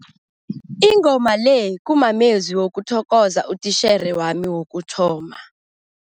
Ingoma le kumamezwi wokuthokoza utitjhere wami wokuthoma.